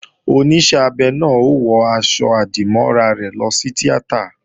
Oníṣẹ́ abẹ náà ó wọ aṣọ-àdìmọ́ra rẹ̀ lọ sí tíátà